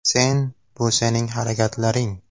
Sen – bu sening harakatlaring.